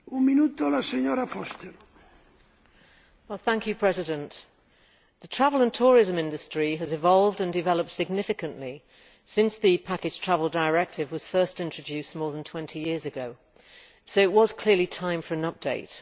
Mr President, the travel and tourism industry has evolved and developed significantly since the Package Travel Directive was first introduced more than 20 years ago, so it was clearly time for an update.